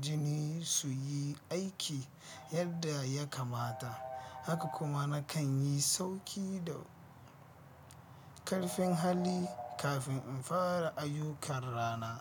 jini su yi aiki yadda ya kamata, haka kuma nakan yi sauki da ƙarfin hali kafin in fara ayyukan rana.